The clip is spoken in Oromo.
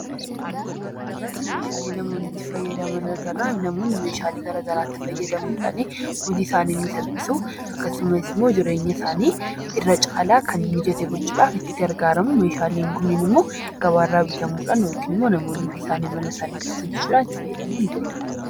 Suuraa kanarratti meeshaalee namoonni itti fayyadaman agarra. Namoonni meeshaalee garaagaraatti fayyadamuudhaan hojii isaanii ni salphisu. Akkasumas immoo jireenya isaanii irra caalaa kan mijate gochuudhaaf itti gargaaramu.